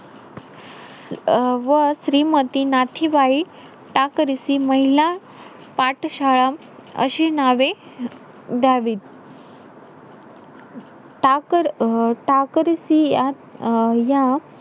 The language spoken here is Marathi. अं व श्रीमती नाथीबाई टाकरिसी महिला पाठशाळा, अशी नावे द्यावीत. टाक~ अं टाकरिसी अं या,